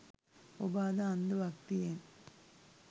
ඔබ අද අන්ධ භක්තියෙන්